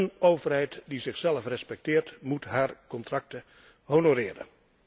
Een overheid die zichzelf respecteert moet haar contracten honoreren.